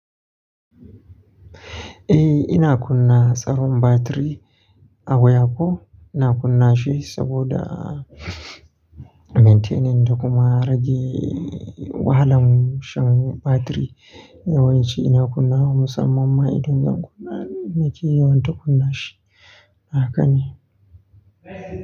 Eh ina kunna tsaron batiri a wayako. Ina kunna shi saboda maintaining da kuma rage wahalan shan batiri yawanci ina kunnawa ma masamman ma idan zan kunna nake yawan ta kunna shi haka ne.